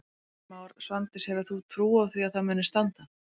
Heimir Már: Svandís hefur þú trú á því að það muni standa?